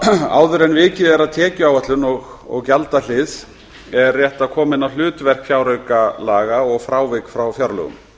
áður en vikið er að tekjuáætlun og gjaldahlið er rétt að koma inn á hlutverk fjáraukalaga og frávik frá fjárlögum